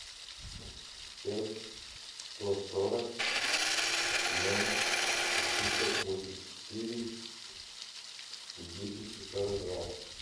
пять сто сорок ноль семьсот восемьдесят четыре десять сорок два